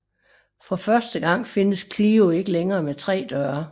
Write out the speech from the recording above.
For første gang findes Clio ikke længere med tre døre